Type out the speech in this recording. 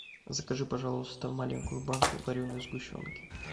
закажи пожалуйста маленькую банку вареной сгущенки